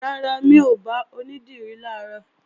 Rárá, mi ò bá onídìrí làárọ̀